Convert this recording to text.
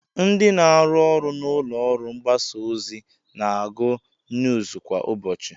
Ndị na-arụ ọrụ n'ụlọọrụ mgbasaozi na-agụ nuuz kwa ụbọchị